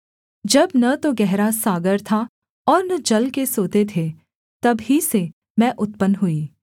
जब न तो गहरा सागर था और न जल के सोते थे तब ही से मैं उत्पन्न हुई